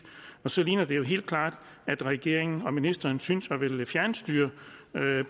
og så ligner det jo helt klart at regeringen og ministeren synes at ville fjernstyre